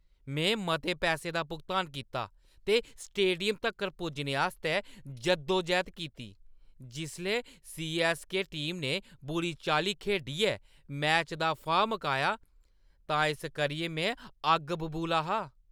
में मते पैसे दा भुगतान कीता ते स्टेडियम तक्कर पुज्जने आस्तै जद्दोजहद कीती, जिसलै सी.ऐस्स.के. टीम ने बुरी चाल्ली खेढियै मैचै दा फाह् मकाया तां इस करियै में अग्ग बबूला हा ।